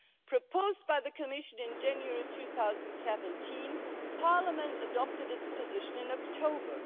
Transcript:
It was proposed by the Commission in January 2017 and Parliament adopted its position in October.